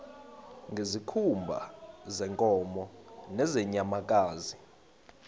ngezikhumba zeenkomo nezeenyamakazi